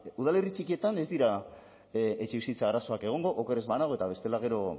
udalerri txikietan ez dira etxebizitza arazoak egongo oker ez banago eta bestela gero